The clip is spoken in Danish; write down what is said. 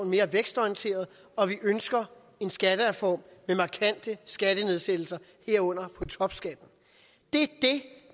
mere vækstorienteret og at vi ønsker en skattereform med markante skattenedsættelser herunder af topskatten det